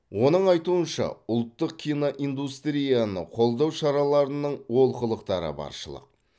оның айтуынша ұлттық киноиндустрияны қолдау шараларының олқылықтары баршылық